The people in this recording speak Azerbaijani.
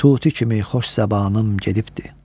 Tuti kimi xoş zəbanım gedibdir.